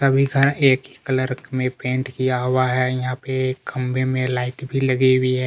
सभी का एक ही कलर मे पेंट किया हुआ है यहाँ पे खंभे मे लाइट भी लगी हुई हैं।